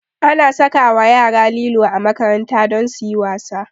Ana sakawa yara lilo a makaranta don suyi wasa